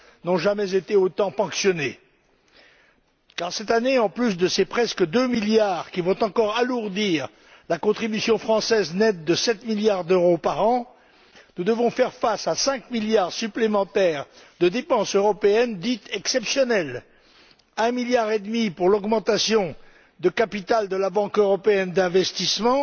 n'ont jamais été autant ponctionnés. Car cette année, en plus de ces près de 2 milliards qui vont encore alourdir la contribution française nette de 7 milliards d'euros par an nous devons faire face à 5 milliards supplémentaires de dépenses européennes dites exceptionnelles 1,5 milliard pour l'augmentation de capital de la Banque européenne d'investissement